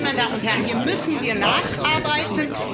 Nein, meine Damen und Herren, hier müssen wir nacharbeiten.